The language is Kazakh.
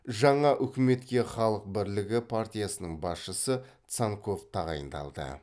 жаңа үкіметке халық бірлігі партиясының басшысы цанков тағайындалды